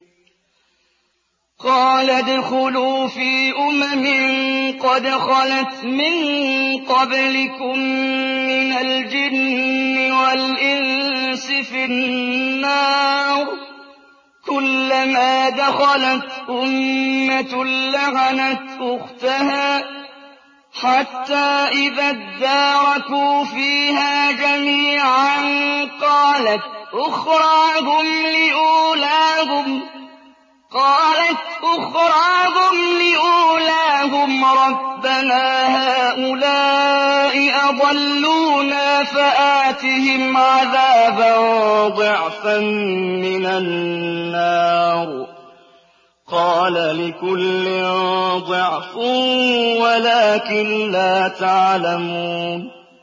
قَالَ ادْخُلُوا فِي أُمَمٍ قَدْ خَلَتْ مِن قَبْلِكُم مِّنَ الْجِنِّ وَالْإِنسِ فِي النَّارِ ۖ كُلَّمَا دَخَلَتْ أُمَّةٌ لَّعَنَتْ أُخْتَهَا ۖ حَتَّىٰ إِذَا ادَّارَكُوا فِيهَا جَمِيعًا قَالَتْ أُخْرَاهُمْ لِأُولَاهُمْ رَبَّنَا هَٰؤُلَاءِ أَضَلُّونَا فَآتِهِمْ عَذَابًا ضِعْفًا مِّنَ النَّارِ ۖ قَالَ لِكُلٍّ ضِعْفٌ وَلَٰكِن لَّا تَعْلَمُونَ